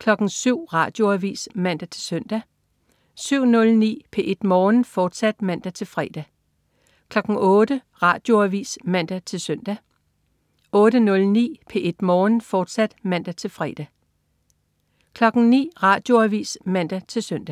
Radioavis (man-søn) 07.09 P1 Morgen, fortsat (man-fre) 08.00 Radioavis (man-søn) 08.09 P1 Morgen, fortsat* (man-fre) 09.00 Radioavis (man-søn)